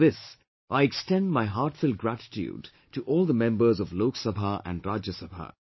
For this, I extend my heartfelt gratitude to all the members of Lok Sabha and Rajya Sabha